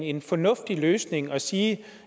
en fornuftig løsning at sige